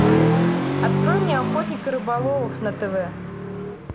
открой мне охотник и рыболов на тв